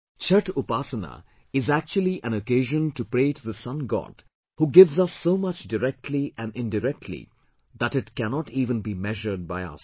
Chhathh Upasana is actually an occasion to pray to the Sun God who gives us so much directly and indirectly that it cannot even be measured by us